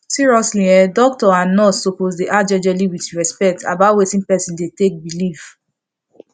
seriously en doctor and nurse suppose dey ask jejely with respect about watin person dey take believe